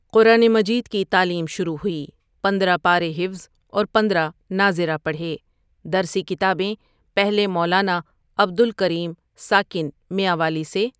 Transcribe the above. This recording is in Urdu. قرآن مجید کی تعلیم شروع ہوئی پندرہ پارے حفظ اور پندرہ ناظر ہ پڑھے درسی کتابیں پہلے مولانا عبد الکریم ساکن میانوالی سے۔